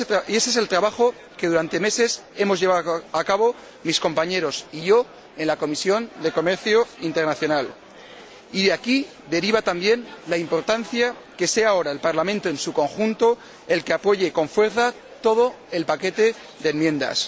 Ese es el trabajo que durante meses hemos llevado a cabo mis compañeros y yo en la Comisión de Comercio Internacional, y de aquí deriva también la importancia de que sea ahora el Parlamento en su conjunto el que apoye con fuerza todo el paquete de enmiendas.